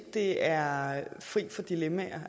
det er for et signal man